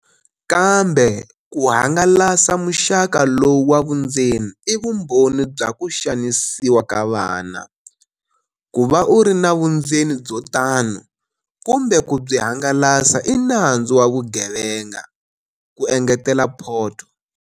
Kambe ku hangalasa muxaka lowu wa vundzeni i vumbhoni bya ku xanisiwa ka vana. Ku va u ri na vundzeni byo tano kumbe ku byi hangalasa i nandzu wa vugevenga, ku engetela Poto.